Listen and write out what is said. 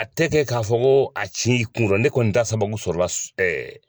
A tɛ kɛ ka fɔ ko a ci kun nɔ, ne kɔni ta sababu sɔrɔ la ɛɛ